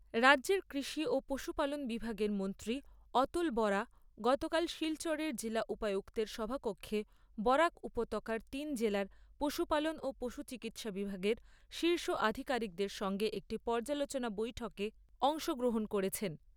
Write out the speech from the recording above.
রাজ্যের কৃষি ও পশুপালন বিভাগের মন্ত্রী অতুল বরা গতকাল শিলচরের জেলা উপায়ুক্তের সভাকক্ষে বরাক উপতাকার তিন জেলার পশুপালন ও পশু চিকিৎসা বিভাগের শীর্ষ আধীকারিকদের সঙ্গে একটি পৰ্যালোচনা বৈঠকে অংশগ্রহণ করেছেন।